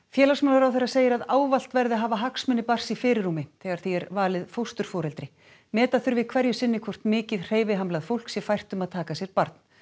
félagsmálaráðherra segir að ávallt verði að hafa hagsmuni barns í fyrirrúmi þegar því er valið fósturforeldri meta þurfi hverju sinni hvort mikið hreyfihamlað fólk sé fært um að taka að sér barn